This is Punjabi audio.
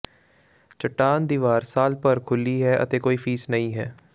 ਚੱਟਾਨ ਦੀਵਾਰ ਸਾਲ ਭਰ ਖੁੱਲੀ ਹੈ ਅਤੇ ਕੋਈ ਫੀਸ ਨਹੀਂ ਹੈ